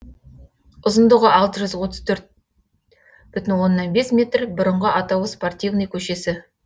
ұзындығы алты жүз отыз төрт бүтін оннан бес метр бұрынғы атауы спортивный көшесі